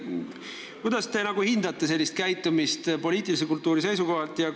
Kuidas te hindate sellist käitumist poliitilise kultuuri seisukohalt?